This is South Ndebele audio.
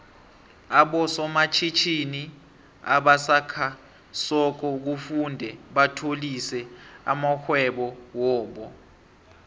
aboso matjhitjhini obasakha soko kufuze batlolise amoihwebo wobo